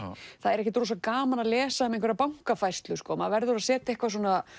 það er ekkert rosa gaman að lesa um bankafærslur maður verður að setja eitthvað